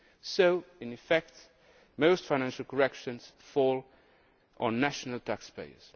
So, in effect, most financial corrections fall on national taxpayers.